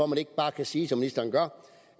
man ikke bare sige som ministeren gør